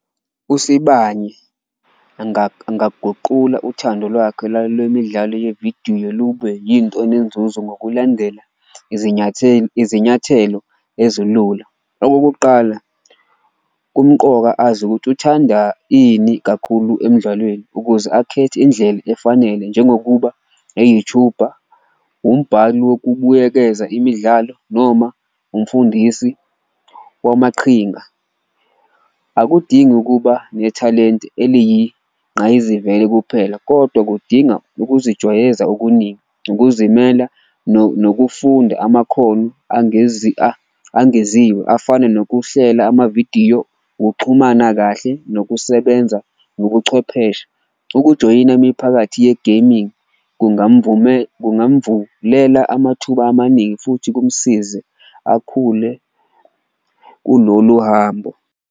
USibani angaguqula uthando lwakhe lwemidlalo yevidiyo lube yinto enenzuzo ngokulandela izinyathelo ezilula. Okokuqala kumqoka azi ukuthi uthanda ini kakhulu emdlalweni ukuze akhethe indlela efanele njengokuba e-YouTube-a, umbhali wokubuyekeza imidlalo noma umfundisi wamaqhinga. Akudingi ukuba nethalenti eliyinqayizivele kuphela kodwa kudinga ukuzijwayeza okuningi, ukuzimela nokufunda amakhono angeziwe afana nokuhlela amavidiyo, ukuxhumana kahle, nokusebenza nobuchwepheshe. Ukujoyina imiphakathi ye-gaming kungamvulela amathuba amaningi futhi kumsize akhule kulolu hambo.